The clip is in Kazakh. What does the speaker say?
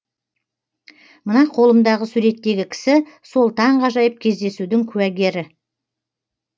мына қолымдағы суреттегі кісі сол таңғажайып кездесудің куәгері